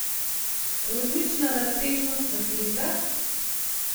Kozmična razsežnost v slikah?